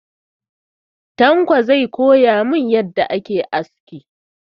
Tanko zai koya mun yadda ake aski.